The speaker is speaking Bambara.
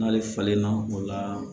N'ale falenna o la